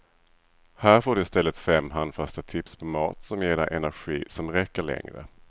Här får du i stället fem handfasta tips på mat som ger dig energi som räcker längre.